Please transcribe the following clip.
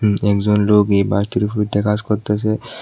একজন লোক এই বাঁশটির উপর উইঠ্যা কাজ করতেসে।